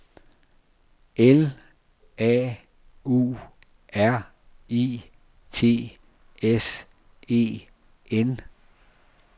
L A U R I T S E N